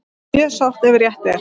Mjög sárt ef rétt er